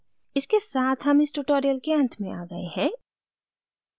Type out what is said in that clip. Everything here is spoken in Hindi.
इसके साथ हम इस tutorial के अंत में आ गए हैं